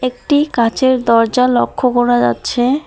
একটি কাচের দরজা লক্ষ করা যাচ্ছে।